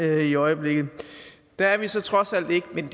i øjeblikket der er vi så trods alt ikke men